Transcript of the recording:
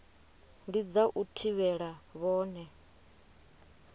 ndi dza u thivhela vhone